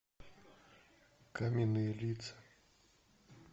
каменные лица